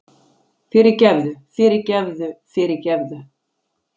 Fyrirgefðu fyrirgefðu fyrirgefðu!